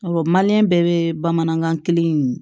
Awɔ bɛɛ bɛ bamanankan kelen in